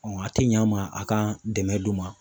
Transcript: a tɛ ɲa n ma a ka dɛmɛ d'u ma.